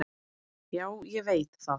"""Já, ég veit það."""